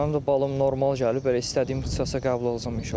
Mənim də balım normal gəlib, elə istədiyim ixtisasa qəbul olacam inşallah.